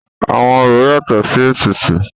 Àwọn orò yatọ̀ sí ètùtù.